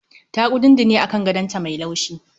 Ta kudundune a kan gadon ta mai laushi